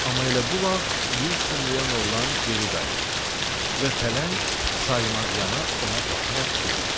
Amma elə bu vaxt yer şumlayan oğlan geri qayıtdı və pələng saymazyana ona baxaraq dedi: